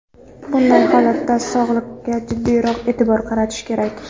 Bunday holatda sog‘liqqa jiddiyroq e’tibor qaratish kerak.